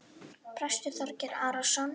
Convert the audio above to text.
Prestur Þorgeir Arason.